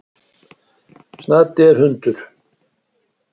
Snati er hundur.